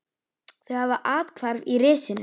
Þau hafa athvarf í risinu.